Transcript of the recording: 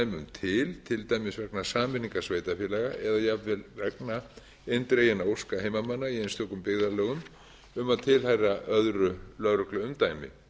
til til dæmis vegna sameiningar sveitarfélaga eða jafnvel vegna eindreginna óska heimamanna í einstökum byggðarlögum um að tilheyra öðru lögregluumdæmi